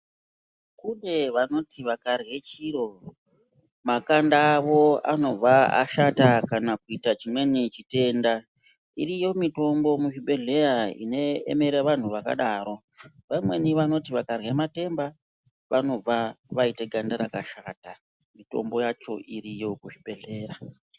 Kune vanoti vakati vakarye chiro makanda avo anobva ashata kana kuita chimweni chitenda. Iriyo mitombo muzvibhedhleya inoemera vantu vakadaro. Vamweni vanoti vakarye matemba vanobve vaite ganda rakashata. Mitombo yacho iriyo kuzvibhedhlera.